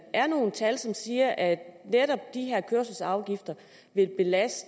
er nogle tal som siger at netop de her kørselsafgifter vil belaste